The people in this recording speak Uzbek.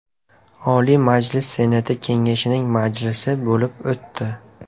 Oliy Majlis Senati Kengashining majlisi bo‘lib o‘tdi.